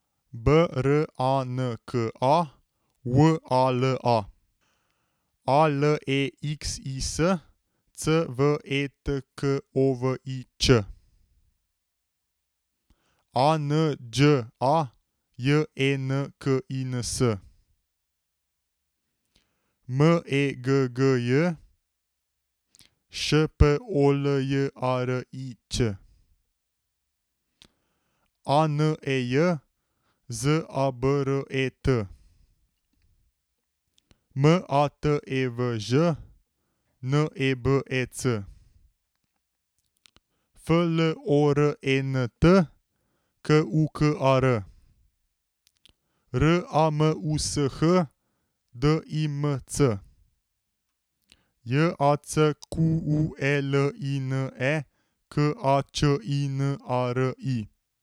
B R A N K A, W A L A; A L E X I S, C V E T K O V I Č; A N Đ A, J E N K I N S; M E G G J, Š P O L J A R I Ć; A N E J, Z A B R E T; M A T E V Ž, N E B E C; F L O R E N T, K U K A R; R A M U S H, D I M C; J A C Q U E L I N E, K A Č I N A R I.